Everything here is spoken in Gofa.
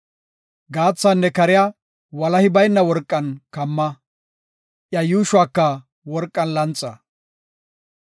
Gaathaanne kariya walahi bayna worqan kamma; iya yuushuwaka worqan lanxa.